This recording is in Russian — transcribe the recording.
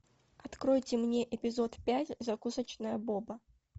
откройте мне эпизод пять закусочная боба